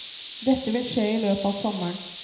Dette vil skje i løpet av sommeren.